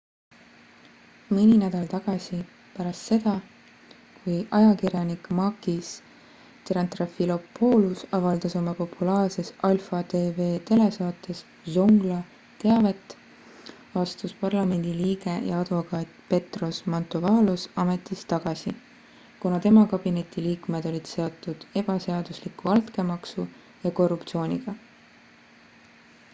mõni nädal tagasi pärast seda kui ajakirjanik makis triantafylopoulos avaldas oma populaarses alpha tv telesaates zoungla teavet astus parlamendi liige ja advokaat petros mantouvalos ametist tagasi kuna tema kabineti liikmed olid seotud ebaseadusliku altkäemaksu ja korruptsiooniga